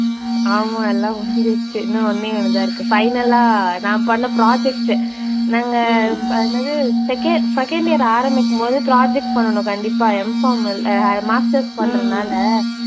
ஆமா எல்லாம் முடிஞ்சிடுச்சு. இன்னும் ஒன்னையொன்னு தான் இருக்கு. final லா நான் பண்ண project உ. நாங்க என்னது second second year ஆரம்பிக்கும்போது project பண்ணனும் கண்டிப்பா Mpharm Masters பண்றதுனால